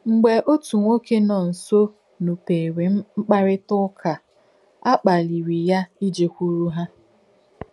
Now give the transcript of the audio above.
Mgbé òtù nwọ́kè nọ̀ nsō nùpèèrē m̀kpàrị́tà ùkà à, à kpàlìrī yà ìjẹ̀kwèrù hà.